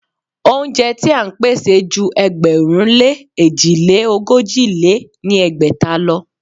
Óúnjẹ ti à ń pèsè ju ẹgbẹ̀rún lé èjì lé ogójì lé ní ẹgbẹ́ta lọ.